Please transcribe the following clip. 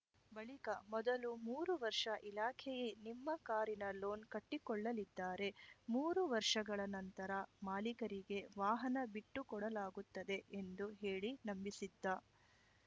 ಬಳಿಕ ಮೊದಲು ಮೂರು ವರ್ಷ ಇಲಾಖೆಯೇ ನಿಮ್ಮ ಕಾರಿನ ಲೋನ್‌ ಕಟ್ಟಿಕೊಳ್ಳಲಿದ್ದಾರೆ ಮೂರು ವರ್ಷಗಳ ನಂತರ ಮಾಲಿಕರಿಗೆ ವಾಹನ ಬಿಟ್ಟು ಕೊಡಲಾಗುತ್ತದೆ ಎಂದು ಹೇಳಿ ನಂಬಿಸಿದ್ದ